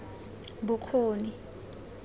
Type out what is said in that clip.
bokgoni